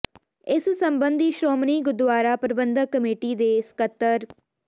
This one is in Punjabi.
ਇਸ ਸੰਬੰਧੀ ਸ਼੍ਰੋਮਣੀ ਗੁਰਦੁਆਰਾ ਪ੍ਰਬੰਧਕ ਕਮੇਟੀ ਦੇ ਸਕੱਤਰ ਸ